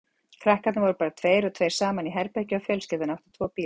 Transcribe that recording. Krakkarnir voru bara tveir og tveir saman í herbergi og fjölskyldan átti tvo bíla.